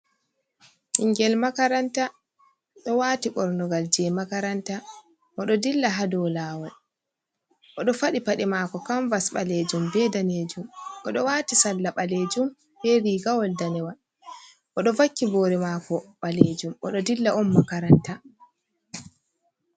Ɓingel makaranta ɗo wati ɓornugal je makaranta, oɗo dilla ha dou lawol, o ɗo fadi paɗe mako kamvas ɓalejum, be ɗanejum, oɗo wati salla ɓalejum be rigawol danewal, oɗo vakki bore mako ɓalejum oɗo dilla on makaranta.